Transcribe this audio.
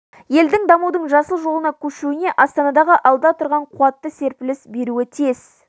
елдің дамудың жасыл жолына көшуіне астанадағы алда тұрған қуатты серпіліс беруі тиіс